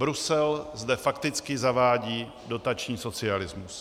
Brusel zde fakticky zavádí dotační socialismus.